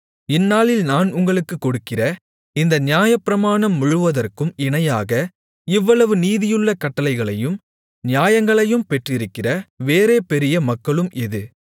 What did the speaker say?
இந்நாளில் நான் உங்களுக்கு கொடுக்கிற இந்த நியாயப்பிரமாணம் முழுவதற்கும் இணையாக இவ்வளவு நீதியுள்ள கட்டளைகளையும் நியாயங்களையும் பெற்றிருக்கிற வேறே பெரிய மக்களும் எது